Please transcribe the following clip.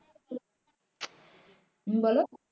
হম বলো